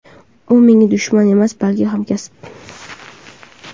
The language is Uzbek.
U menga dushman emas, balki hamkasb.